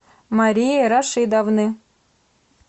марии рашидовны